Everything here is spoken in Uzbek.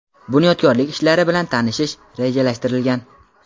bunyodkorlik ishlari bilan tanishish rejalashtirilgan.